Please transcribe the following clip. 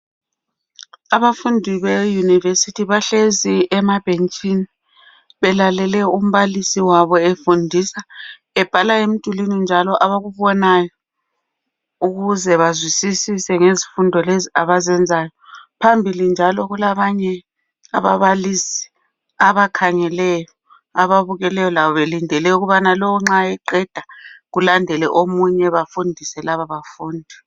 Abafundi beyunivesithi bahlezi emabhentshini, belalele umbalisi wabo efundisa. Ebhala emdulwini njalo abakubonayo, ukuze bazwisisise ngezifundo lezi abazenzayo. Phambili njalo kulabanye ababalisi, abakhangeleyo njalo belinde ukuba nxa lo eqeda, kungene omunye.. Bafundise lababafundi.